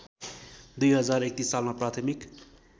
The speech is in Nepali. २०३१ सालमा प्राथमिक